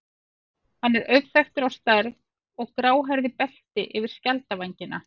Hann er auðþekktur á stærð og gráhærðu belti yfir skjaldvængina.